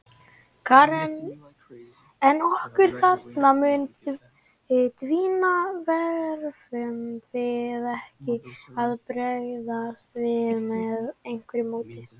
Karen: En orkan þarna mun dvína, verðum við ekki að bregðast við með einhverju móti?